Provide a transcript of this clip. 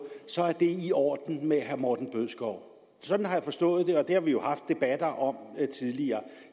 så er det i orden med herre morten bødskov sådan har jeg forstået det og det har vi jo haft debatter om tidligere